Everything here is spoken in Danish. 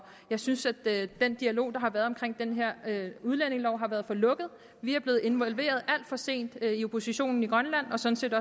jeg synes at den dialog der har været omkring den her udlændingelov har været for lukket vi er blevet involveret alt for sent i oppositionen i grønland og sådan set